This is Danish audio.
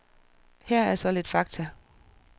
Her er så lidt fakta.